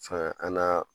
Fɛn an'a